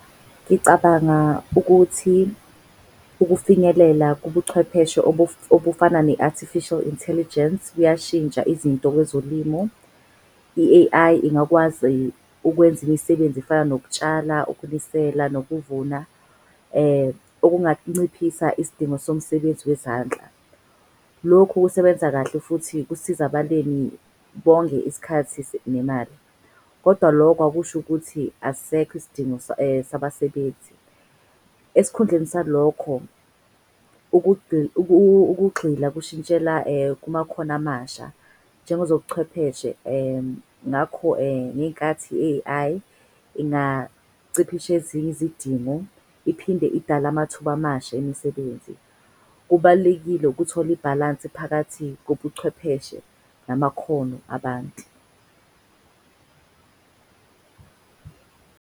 Ngicabanga ukuthi ukufinyelela kubuchwepheshe obufana ne-Artificial Intelligence kuyashintsha izinto kwezolimo. I-A_I ingakwazi ukwenza imisebenzi efana nokutshala, ukunisela nokuvuna okunganciphisa isidingo somsebenzi wezandla. Lokhu kusebenza kahle futhi kusiza abalimi bonge isikhathi nemali. Kodwa loko akusho ukuthi asisekho isidingo sabasebenzi. Esikhundleni salokho ukugxila kushintshela kumakhono amasha njengezobuchwepheshe. Ngakho, ngenkathi i-A_I ingaciphishezinye izidingo, iphinde idala amathuba amasha emisebenzi. Kubalulekile ukuthola ibhalansi phakathi kobuchwepheshe namakhono abantu .